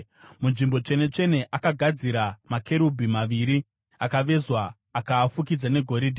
MuNzvimbo Tsvene-tsvene akagadzira makerubhi maviri akavezwa akaafukidza negoridhe.